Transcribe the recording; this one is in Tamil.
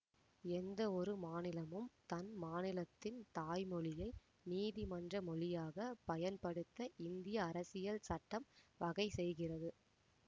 எந்த ஒரு மாநிலமும் தன் மாநிலத்தின் தாய்மொழியை நீதிமன்ற மொழியாக பயன் படுத்த இந்திய அரசியல் சட்டம் வகை செய்கிறது